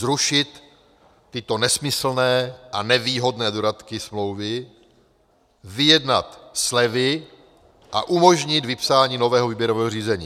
Zrušit tyto nesmyslné a nevýhodné dodatky smlouvy, vyjednat slevy a umožnit vypsání nového výběrového řízení.